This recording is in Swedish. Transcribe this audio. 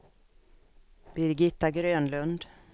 Birgitta Grönlund